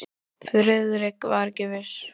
Friðrik var ekki viss.